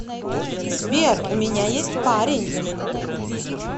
сбер у меня есть парень